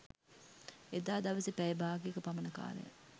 එදා දවසෙ පැය බාගයක පමණ කාලයක්